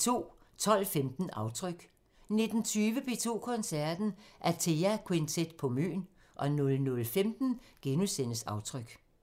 12:15: Aftryk 19:20: P2 Koncerten – Atea Quintet på Møn 00:15: Aftryk *